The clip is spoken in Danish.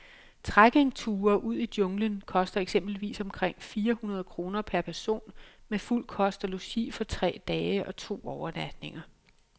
Trekkingture ud i junglen koster eksempelvis omkring fire hundrede kroner per person med fuld kost og logi for tre dage og to overnatninger.